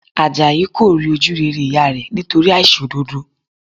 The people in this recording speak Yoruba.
Àjàyí kò rí ojú rere ìyá rẹ̀ nítorí àìṣòdodo